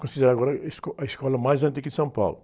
Considerada agora a esco, a escola mais antiga de São Paulo.